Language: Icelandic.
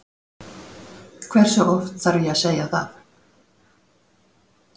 Hversu oft þarf ég að segja það?